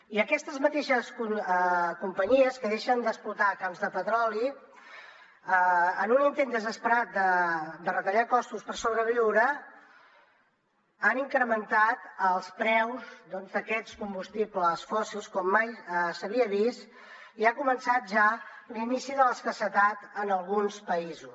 i aquestes mateixes companyies que deixen d’explotar camps de petroli en un intent desesperat de retallar costos per sobreviure han incrementat els preus d’aquests combustibles fòssils com mai s’havia vist i ha començat ja l’inici de l’escassetat en alguns països